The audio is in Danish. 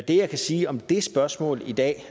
jeg kan sige om det spørgsmål i dag og